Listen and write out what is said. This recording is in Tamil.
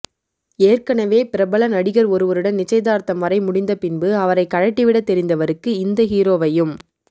ஏற்கனவே பிரபல நடிகர் ஒருவருடன் நிச்சயதார்த்தம் வரை முடிந்தபின்பு அவரை கழட்டி விட தெரிந்தவருக்கு இந்த ஹீரோவையும்